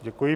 Děkuji.